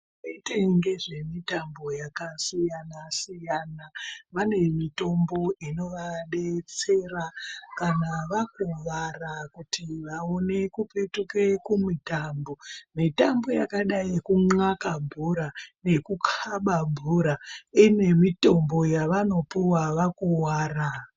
Vanoite ngezve mutambo yakasiyana siyana vane mutombo inodetsera kuti kana vakuwara kuri vaone kupetuka kumutambo mutambo yakadai ngejun, akwe bhora nekukaba bhora ine mutombo yavanopiwa kana vakuwara.